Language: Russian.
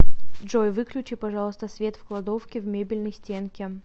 джой выключи пожалуйста свет в кладовке в мебельной стенке